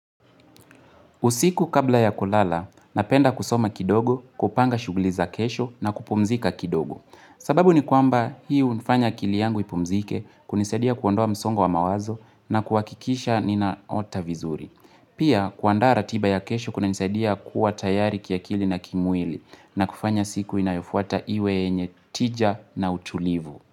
Usiku kabla ya kulala, napenda kusoma kidogo, kupanga shughuli za kesho na kupumzika kidogo. Sababu ni kwamba hii hunifanya akili yangu ipumzike kunisadia kuondoa msongo wa mawazo na kuhakikisha ninaota vizuri. Pia kuanda ratiba ya kesho kunanisaidia kuwa tayari kiakili na kimwili na kufanya siku inayofuata iwe yenye tija na utulivu.